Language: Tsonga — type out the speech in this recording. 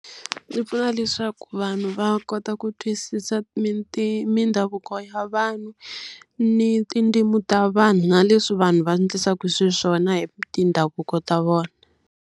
Yi pfuna leswaku vanhu va kota ku twisisa mindhavuko ya vanhu, ni tindzimi ta vanhu na leswi vanhu va endlisaka xiswona hi mindhavuko ta vona.